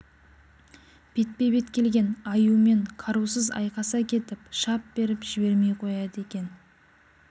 бетпе-бет келген аюмен қарусыз айқаса кетіп шап беріп жібермей қояды екен